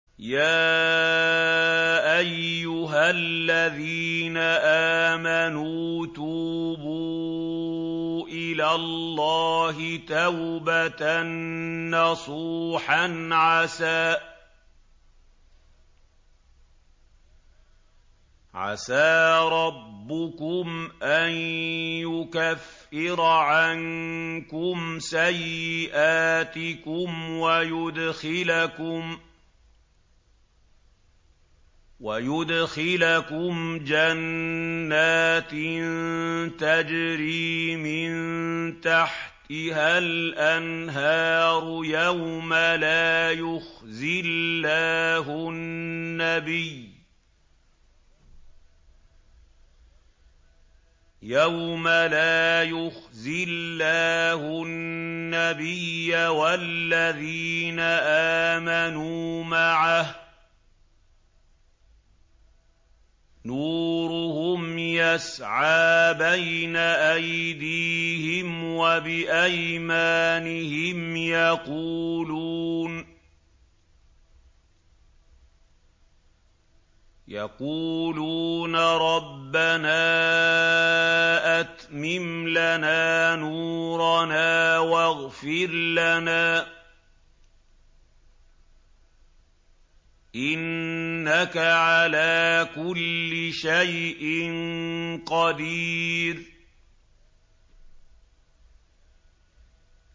يَا أَيُّهَا الَّذِينَ آمَنُوا تُوبُوا إِلَى اللَّهِ تَوْبَةً نَّصُوحًا عَسَىٰ رَبُّكُمْ أَن يُكَفِّرَ عَنكُمْ سَيِّئَاتِكُمْ وَيُدْخِلَكُمْ جَنَّاتٍ تَجْرِي مِن تَحْتِهَا الْأَنْهَارُ يَوْمَ لَا يُخْزِي اللَّهُ النَّبِيَّ وَالَّذِينَ آمَنُوا مَعَهُ ۖ نُورُهُمْ يَسْعَىٰ بَيْنَ أَيْدِيهِمْ وَبِأَيْمَانِهِمْ يَقُولُونَ رَبَّنَا أَتْمِمْ لَنَا نُورَنَا وَاغْفِرْ لَنَا ۖ إِنَّكَ عَلَىٰ كُلِّ شَيْءٍ قَدِيرٌ